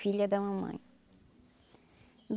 Filha da mamãe.